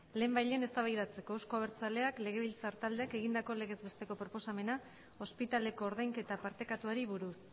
lehenbailehen eztabaidatzeko euzko abertzaleak legebiltzar taldeak egindako legez besteko proposamena ospitaleko ordainketa partekatuari buruz